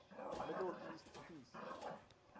middle east peace